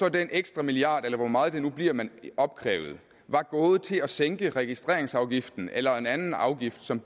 at den ekstra milliard eller hvor meget det nu bliver man opkræver var gået til at sænke registreringsafgiften eller en anden afgift som